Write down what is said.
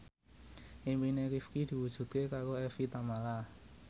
impine Rifqi diwujudke karo Evie Tamala